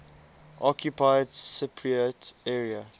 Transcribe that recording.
occupied cypriot area